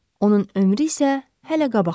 Onun ömrü isə hələ qabaqdadır.